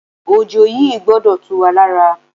Òjò yìí gbọdọ̀ tú wá lára.